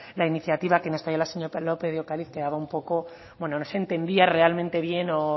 la iniciativa que nos trae la señora lópez de ocariz quedaba un poco no se entendía realmente bien o